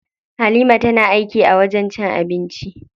Halima tana aiki a wajen cin abinci.